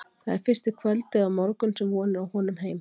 Það er fyrst í kvöld eða á morgun sem von er á honum heim.